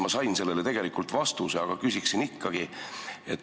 Ma sain sellele tegelikult vastuse, aga küsin ikkagi.